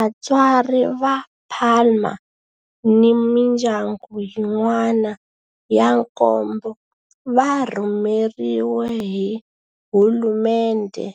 Vatswari va Palma ni mindyangu yin'wana ya nkombo va rhumeriwe hi hulumendhe